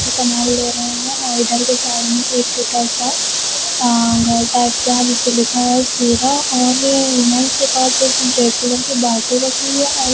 सामान ले रहे हैं और इधर के साइड में एक छोटा सा अं घर टाइप का है जिसपे लिखा है सीधा और के पास एक रेड कलर की बाल्टी रखी है और --